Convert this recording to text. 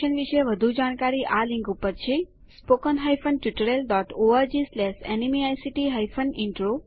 આ મિશન વિશે વધુ જાણકારી આ લિંક httpspoken tutorialorgNMEICT Intro ઉપર ઉપલબ્ધ છે